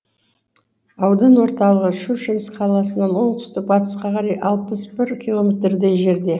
аудан орталығы щучинск қаласынан оңтүстік батысқа қарай алпыс бір километрдей жерде